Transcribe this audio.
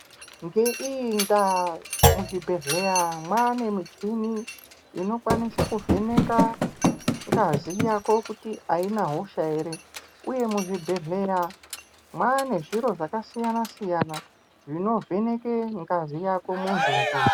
Ngeiyi ndaa muzvibhedhleya mwaane michini inokwanise kuvheneka ngazi yako kuti aina hosha ere, uye muzvibhedhlera mwaane zviro zvakasiyana-siyana zvinovheneke ngazi muntunje.